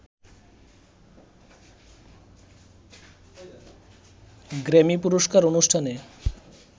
Grammy পুরস্কার অনুষ্ঠানে